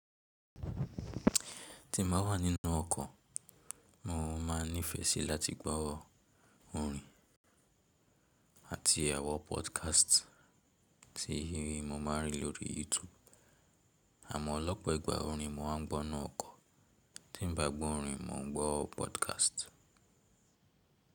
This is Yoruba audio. Tin bá wà nínú ọkọ̀, mo ma nifẹ sí láti gbọ́ orin àti àwọn podcast tí mo ma rí lórí YouTube. Àmọ́ lọ́pọ̀ ìgbà orin mo máa ń gbọ́ nínú ọkọ̀, tin bá gbọ́ orin mo ń gbọ́ podcast.